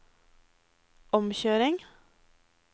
omkjøring